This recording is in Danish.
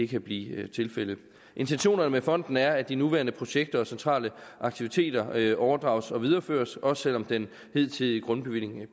kan blive tilfældet intentionerne med fonden er at de nuværende projekter og centrale aktiviteter overdrages og videreføres også selv om den hidtidige grundbevilling